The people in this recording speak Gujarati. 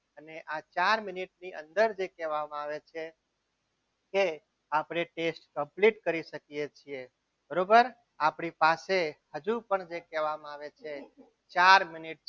અને આ ચાર મિનિટની અંદર જે કહેવામાં આવે છે કે આપણે taste complete કરી શકીએ છીએ બરોબર આપણી પાસે હજુ પણ જે કહેવામાં આવે છે ચાર મિનિટ